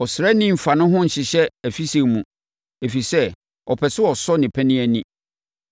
Ɔsraani mfa ne ho nhyehyɛ afisɛm mu, ɛfiri sɛ, ɔpɛ sɛ ɔsɔ ne panin ani.